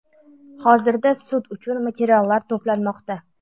Hozirda sud uchun materiallar to‘planmoqda.